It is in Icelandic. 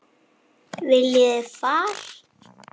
Viljið þið far?